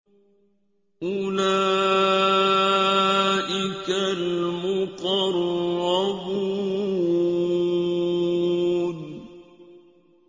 أُولَٰئِكَ الْمُقَرَّبُونَ